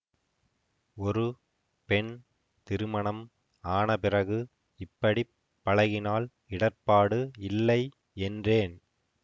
ஒரு பெண் திருமணம் ஆன பிறகு இப்படி பழகினால் இடர்ப்பாடு இல்லை என்றேன்